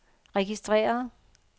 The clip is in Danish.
registreret